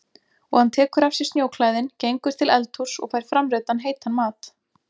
Og hann tekur af sér snjóklæðin, gengur til eldhúss og fær framreiddan heitan mat.